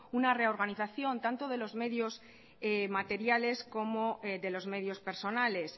una reorganización tanto de los medios materiales como de los medios personales